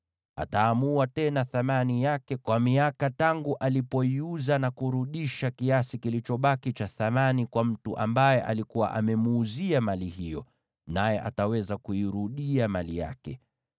ataamua tena thamani yake kwa miaka tangu alipoiuza, na kurudisha kiasi kilichobaki cha thamani kwa mtu ambaye alikuwa amemuuzia mali hiyo, naye ataweza kuirudia mali yake.